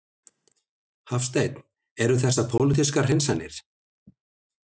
Hafsteinn: Eru þessar pólitískar hreinsanir?